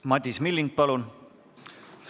Madis Milling, palun!